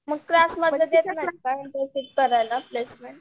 मग क्लासमध्ये देत नाहीत का इंटर्नशिप करायला प्लेसमेंट?